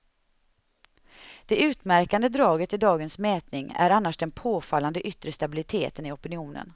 Det utmärkande draget i dagens mätning är annars den påfallande yttre stabiliteten i opinionen.